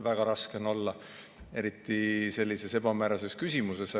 Väga raske on olla, eriti sellise ebamäärase küsimuse puhul.